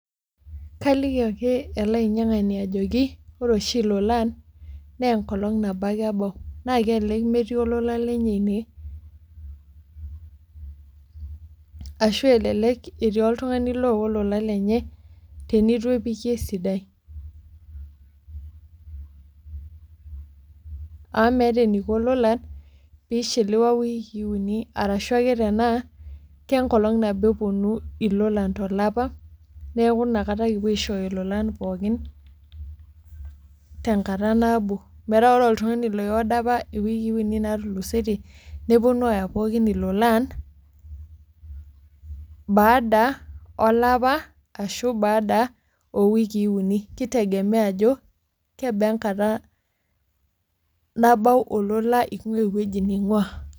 Kaliki ake ele ainyiangani ajoki wore oshi ilolan, naa enkolong' nabo ake ebau. Naa kelelek metii olola lenye inie, ashu elelek etii oltungani oowa olola lenye, tenitu epiki esidai. amu meeta eniko ilolan pee ishiliwa iwiikii uni, arashu ake tenaa kenkolong nabo eponu ilolan tolapa, neeku iniakata kipuo aishooyo ilolan pookin tenkata nabo. Metaa wore oltungani oi order apa iwiikii uni naatulusotie, neponu aaya pookin ilolan, baada olapa ashu baada oo wikii uni. Kitegemea ajo, kebaa enkata nabau olola ingua ewoji ningua.